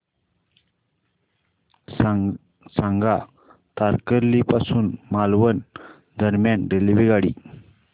सांगा तारकर्ली पासून मालवण दरम्यान रेल्वेगाडी